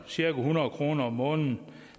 cirka hundrede kroner om måneden